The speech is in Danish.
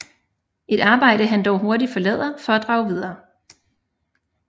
Et arbejde han dog hurtigt forlader for at drage videre